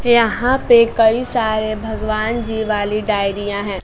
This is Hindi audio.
यहां पे कई सारे भगवान जी वाली डायरीया हैं।